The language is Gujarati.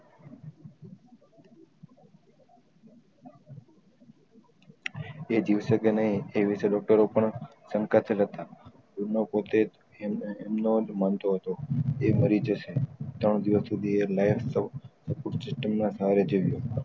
તે જીવશે કે નહી એ વિષય ડોકટરો પણ સંકા ચલક હતા એનોજ પોતે એમનો માનતો હતો એ મરી જશે ત્રણ દિવસ સુધી એ ના સહારે જીવ્યો